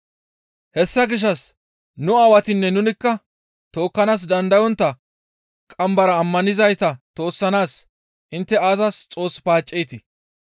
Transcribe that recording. Hessa gishshas nu aawatinne nunikka tookkanaas dandayontta qambara ammanizayta toossanaas intte aazas Xoos paacceetii?